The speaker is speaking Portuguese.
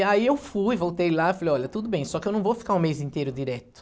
E aí eu fui, voltei lá e falei, olha, tudo bem, só que eu não vou ficar um mês inteiro direto.